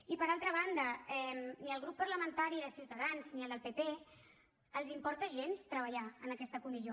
i per altra banda ni al grup parlamentari de ciutadans ni al del pp els importa gens treballar en aquesta comissió